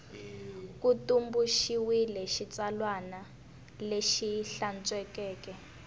ku tumbuluxiwile xitsalwana lexi hlantswekeke